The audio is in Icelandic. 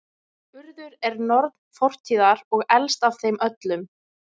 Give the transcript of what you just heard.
Urður er norn fortíðar og elst af þeim öllum.